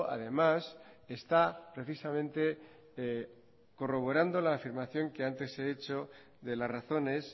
además está precisamente corroborando la afirmación que antes he hecho de las razones